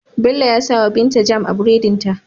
Bello ya sawa binta jam a buredin ta